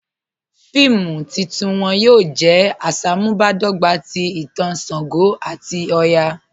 Fíìmù tuntun wọn yóò jẹ̀ àṣàmúbadọ́gbà tì ìtàn ṣàngó àti ọ̀yà.